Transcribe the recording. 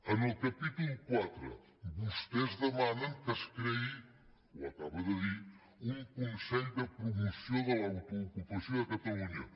en el capítol iv vostès demanen que es creï ho acaba de dir un consell de promoció de l’autoocupació de catalunya